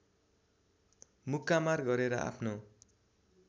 मुक्कामार गरेर आफ्नो